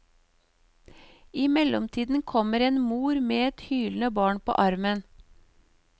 I mellomtiden kommer en mor med et hylende barn på armen.